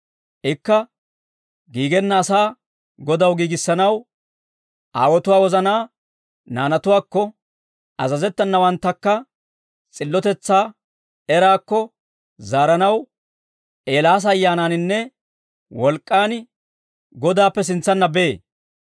Ikka giigenna asaa Godaw giigissanaw, aawotuwaa wozanaa naanatuwaakko, azazettenawanttakka s'illotetsaa eraakko zaaranaw, Eelaasa ayyaanaaninne wolk'k'aan Godaappe sintsanna bee.»